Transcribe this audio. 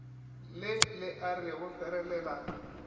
le le a re ferelela